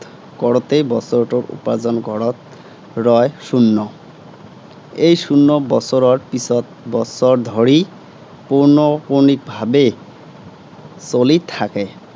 কৰােতেই, বছৰটোৰ উপাৰ্জন ঘৰত, ৰয় শুন্য। এই শূন্য বছৰৰ পিছত বছৰ ধৰি, পৌনঃপুনিকভাৱে চলি থাকে।